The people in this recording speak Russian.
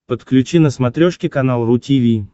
подключи на смотрешке канал ру ти ви